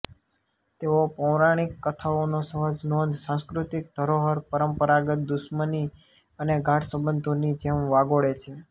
તેઓ પૌરાણિક કથાઓને સહજ નોંધ સાંસ્કૃતિક ધરોહર પરંપરાગત દુશ્મની અને ગાઢ સંબંધોની જેમ વાગોળે છે